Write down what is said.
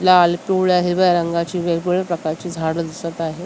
लाल पिवळ्या हिरव्या रंगाची वेगवेगळ्या प्रकारची झाडं दिसत आहेत.